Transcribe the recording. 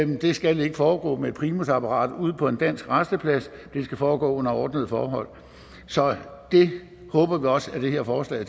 det skal ikke foregå med et primusapparat ude på en dansk rasteplads det skal foregå under ordnede forhold så det håber vi også at det her forslag